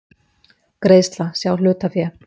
Greiðsla, sjá hlutafé